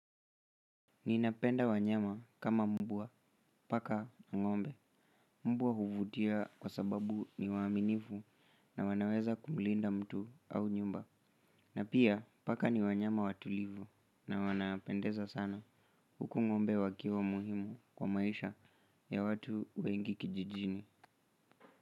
Ninapenda wanyama kama mbwa, paka na ngombe. Mbwa huvutia kwa sababu ni waaminifu na wanaweza kumlinda mtu au nyumba. Na pia, paka ni wanyama watulivu na wanapendeza sana. Huku ngombe wakiwa muhimu kwa maisha ya watu wengi kijijini.